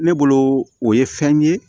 Ne bolo o ye fɛn ye